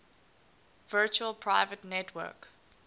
virtual private network